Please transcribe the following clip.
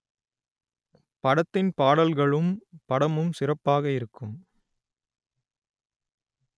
படத்தின் பாடல்களும் படமும் சிறப்பாக இருக்கும்